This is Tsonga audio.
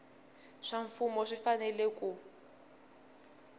swa mfumo swi fanele ku